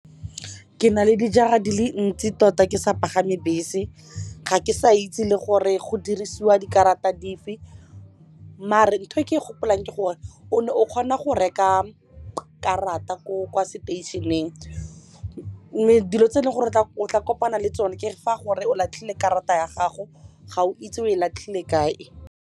Ke na le dijara di le ntsi tota ke sa pagame bese ga ke sa itse le gore go dirisiwa dikarata dife ntho e ke e gopolang ke gore o ne o kgona go go reka karata ko kwa station-eng mme dilo tse e leng gore o tla kopana le tsone ke fa gore o latlhile karata ya gago ga o itse o e latlhile kae.